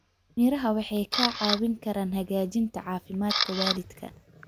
Miraha waxay kaa caawin karaan hagaajinta caafimaadka waalidka.